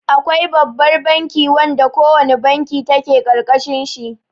Akwai Babbar banki wanda ko wane banki take ƙarƙashin shi.